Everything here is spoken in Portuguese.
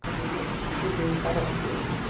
A academia, eu sugeri várias coisas.